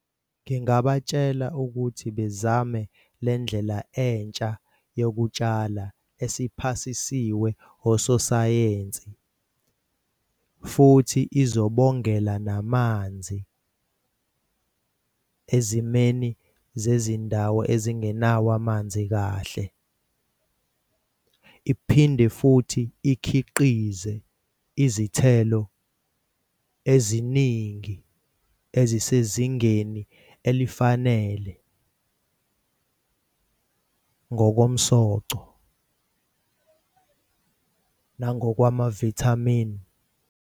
Ngingabatshela ukuthi bezame le ndlela entsha yokutshala esiphasisiwe ososayensi futhi izobongela namanzi ezimeni zezindawo ezingenawo amanzi kahle. Iphinde futhi ikhiqize izithelo eziningi ezisezingeni elifanele ngokomsoco nangokwama-vitamin.